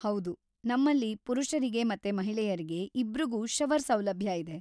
ಹೌದು, ನಮ್ಮಲ್ಲಿ ಪುರುಷರಿಗೆ ಮತ್ತೆ ಮಹಿಳೆಯರ್ಗೆ ಇಬ್ರಿಗೂ ಶವರ್ ಸೌಲಭ್ಯ ಇದೆ.